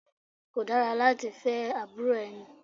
Kò dára láti ní fẹ́ àbúrò ẹni.